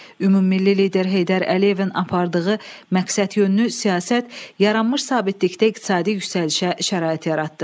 Ümummilli lider Heydər Əliyevin apardığı məqsədyönlü siyasət yaranmış sabitlikdə iqtisadi yüksəlişə şərait yaratdı.